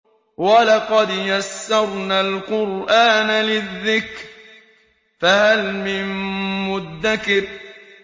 وَلَقَدْ يَسَّرْنَا الْقُرْآنَ لِلذِّكْرِ فَهَلْ مِن مُّدَّكِرٍ